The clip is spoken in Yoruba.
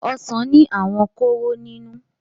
ọsán ní àwọn kóró nínú.